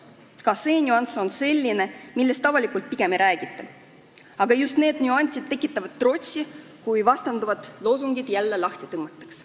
Ka see nüanss on selline, millest avalikult pigem ei räägita, aga just need nüansid tekitavad trotsi, kui vastandavad loosungid jälle lahti tõmmatakse.